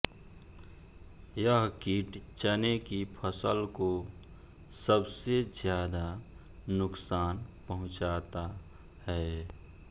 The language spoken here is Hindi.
यह कीट चने की फसल को सबसे ज्यादा नुकसान पहुंचाता है